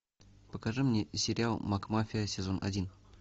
покажи мне сериал макмафия сезон один